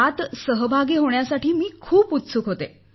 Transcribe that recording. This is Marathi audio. यात सहभागी होण्यासाठी मी खूप उत्सुक होते